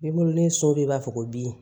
Ne bolo ni so bɛ b'a fɔ ko bin